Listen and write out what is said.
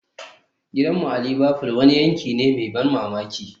Gidanmu a Liverfool wani yanki ne mai ban mamaki